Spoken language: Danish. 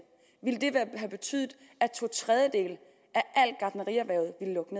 ville have betydet at to tredjedele